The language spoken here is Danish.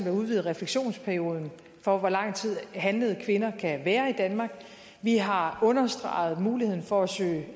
at udvide refleksionsperioden for hvor lang tid handlede kvinder kan være i danmark vi har understreget muligheden for at søge